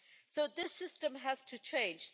So this system has to change.